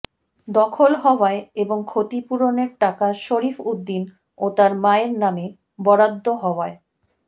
দখল হওয়ায় এবং ক্ষতিপূরণের টাকা শরীফ উদ্দিন ও তার মায়ের নামে বরাদ্দ হওয়ায়